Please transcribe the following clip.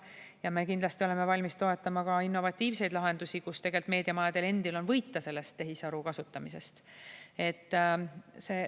Ja me kindlasti oleme valmis toetama ka innovatiivseid lahendusi, kus meediamajadel endil on võita sellest tehisaru kasutamisest.